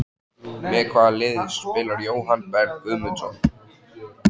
Með hvaða liði spilar Jóhann Berg Guðmundsson?